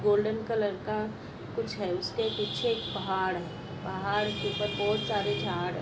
Golden colour का कुछ है। उसके पीछे एक पहाड़ है। पहाड़ के ऊपर बहुत सारे झाड़ है।